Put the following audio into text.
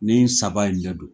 Nin saba in dɛ don.